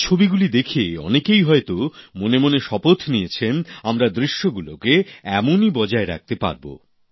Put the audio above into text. এই ছবিগুলি দেখে অনেকেই হয়তো মনে মনে শপথ নিয়েছেন আমরা দৃশ্যগুলোকে এমনই বজায় রাখতে পারব